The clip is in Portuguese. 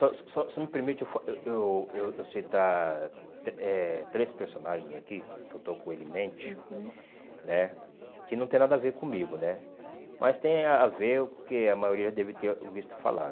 Só só só só me permite eu fa eu eu eu eu citar trê eh três personagens aqui que eu estou com ele em mente, uhum, né que não tem nada a ver comigo né, mas tem a ver com o que a maioria deve ter visto falar.